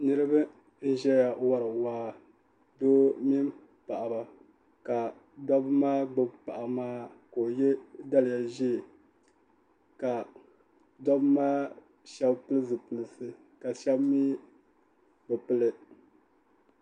niraba n ʒɛya wori waa doo mini paɣaba ka doo maa gbubi paɣa maa ka o yɛ daliya ʒiɛ ka dobi maa shab pili zipilisi ka shab mii bi pili